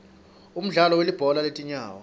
umdlalo welibhola letinyawo